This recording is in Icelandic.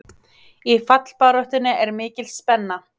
Í fallbaráttunni er mikil spenna.